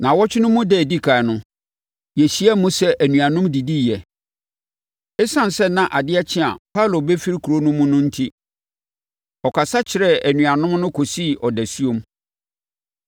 Nnawɔtwe no mu da a ɛdi ɛkan no, yɛhyiaam sɛ anuanom didiiɛ. Esiane sɛ na adeɛ kye a Paulo bɛfiri kuro no mu no enti, ɔkasa kyerɛɛ anuanom no kɔsii ɔdasuom.